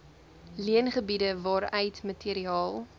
leengebiede waaruit materiaal